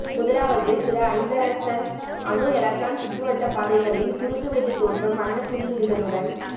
முதலாவது சில ஐதரசன் அணு எலக்ட்ரான் சுற்றுவட்டப்பாதைகளின் குறுக்கு வெட்டுத் தோற்றம் வண்ணக்குறியீடுகளுடன